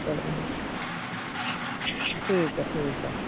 ਚਲੋ ਠੀਕ ਆ ਠੀਕ ਆ।